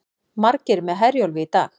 Margir með Herjólfi í dag